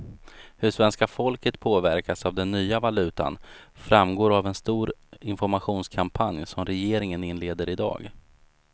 Hur svenska folket påverkas av den nya valutan framgår av en stor informationskampanj som regeringen inleder i dag.